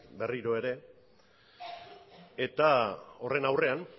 berriro ere eta horren aurrean